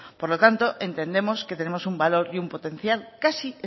por lo tanto entendemos que tenemos un valor y un potencial casi